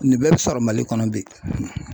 Nin bɛɛ bɛ sɔrɔ Mali kɔnɔ bi